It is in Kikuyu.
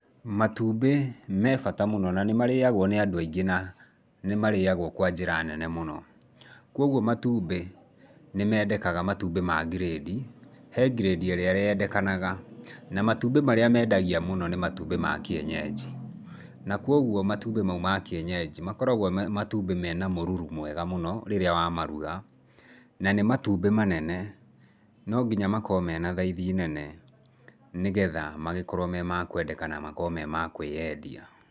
Matumbĩ me bata mũno na nĩ marĩagwo nĩ andũ aingĩ na nĩ marĩagwo kwa njĩra nene mũno. Kwoguo matumbĩ nĩ meendekaga matumbĩ ma ngirĩndi. He ngirĩndi ĩrĩa yendekanaga na matumbĩ marĩa meendagia mũno nĩ matumbĩ ma kĩenyenji. Na kwoguo matumbĩ mau ma kĩenyenji makoragwo matumbĩ mena mũruru mwega mũno rĩrĩa wa maruga, na nĩ matumbĩ manene. No nginya makorwo mena thaithi nene nĩgetha magĩkorwo me makwendeka na makorwo me ma kwĩendia.